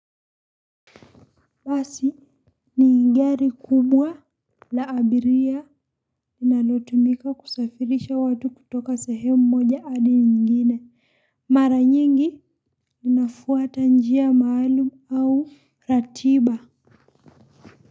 Basi ni gari kubwa la abiria linalotumika kusafirisha watu kutoka sehemu moja hadi nyingine. Mara nyingi inafuata njia maalum au ratiba.